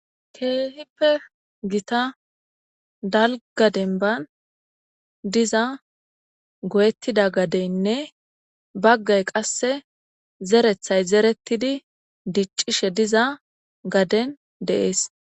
keehippe gita dalgaden ban diza goyettida gadeynne baggay qasse zerethay zerettidi diccishe diza gaden deees